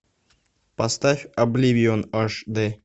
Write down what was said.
поставь обливион аш дэ